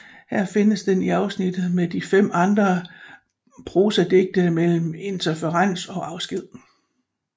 Her findes den i afsnittet med de fem andre prosadigte mellem Interferens og Afsked